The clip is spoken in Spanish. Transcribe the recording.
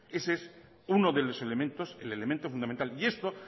ese es uno de los elementos el elemento fundamental y esto